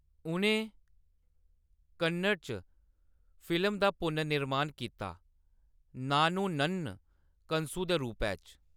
उʼनें कन्नड़ च फिल्म दा पुनर्निर्माण कीता नानु नन्न कनसु दे रूपै च।